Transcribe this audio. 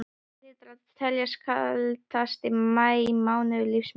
Þetta hlýtur að teljast kaldasti maí mánuður lífs míns.